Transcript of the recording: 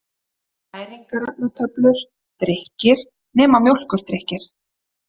Næringarefnatöflur: Drykkir, nema mjólkurdrykkir.